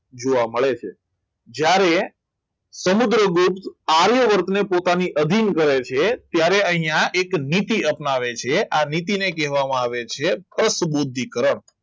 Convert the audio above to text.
જોવા મળે છે જ્યારે સમુદ્રગુપ્ત આર્યવર્તને પોતાની અભિન કરે છે ત્યારે અહીંયા એક નીતિ અપનાવે છે અને તેને કહેવામાં આવે છે અસ્થબુદ્ધિ કરણ